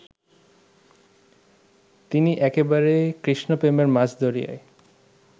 তিনি একেবারে কৃষ্ণপ্রেমের মাঝ দরিয়ায়